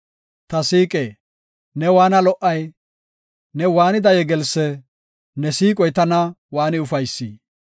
Ta siiqe, ne waanna lo77ay! Ne waanida yegelsse! Ne siiqoy tana waani ufaysi!